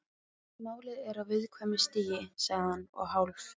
Málið er á viðkvæmu stigi sagði hann og hálf